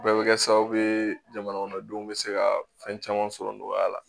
Bɛɛ bɛ kɛ sababu ye jamana kɔnɔdenw bɛ se ka fɛn caman sɔrɔ nɔgɔya la